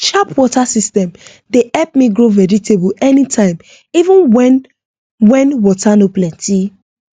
sharp water system dey help me grow vegetable anytime even when when water no plenty